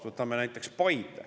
Võtame näiteks Paide.